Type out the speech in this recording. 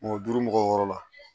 Mɔgɔ duuru mɔgɔw wɔɔrɔ la